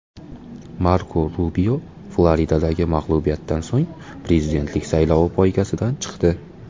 Marko Rubio Floridadagi mag‘lubiyatdan so‘ng prezidentlik saylovi poygasidan chiqdi.